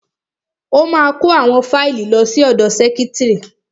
Ó ma kó àwọn fáìlì lọ sí ọ̀dọ sẹ́kítrì.